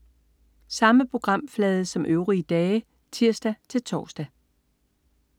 Samme programflade som øvrige dage (tirs-tors)